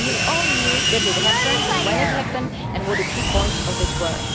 We all knew that it happened, when it happened and what the key points of it were.